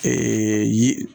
yi